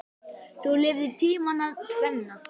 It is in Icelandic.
Þú lifðir tímana tvenna.